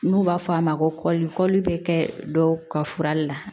N'u b'a fɔ a ma ko kɔlikɔli bɛ kɛ dɔw ka fura la